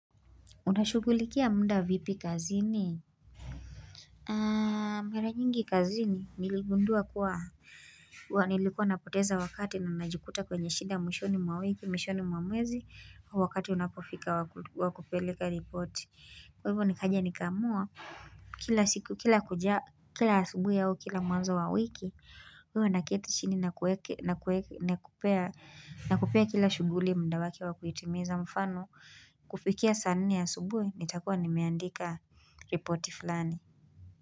Unashughulikia muda vipi kazini? Mera nyingi kazini, niligundua kuwa nilikuwa napoteza wakati na najukuta kwenye shida mwishoni mwa wiki, mwishoni mwamwezi, wakati unapofika wakupeleka ripoti. Kwa hivyo ni kaja nikaamua, kila siku, kila kuja, kila asubui au kila mwanzo wa wiki, huwa naketi chini na kupea kila shughuli muda wake wa kuitimiza mfano, kufikia sanne asubui, nitakua nimeandika ripoti fulani.